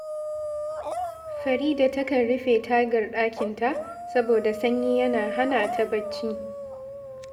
Farida takan rufe tagar ɗakinta saboda sanyi yana hana ta barci